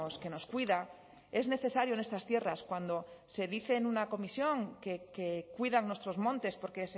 que nos cuida es necesario en estas tierras cuando se dice en una comisión que cuidan nuestros montes porque